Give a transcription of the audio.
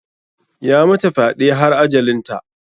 Ya mata fyɗe har ajalinta.